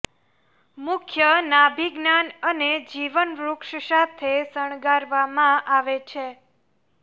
મુખ્ય નાભિ જ્ઞાન અને જીવન વૃક્ષ સાથે શણગારવામાં આવે છે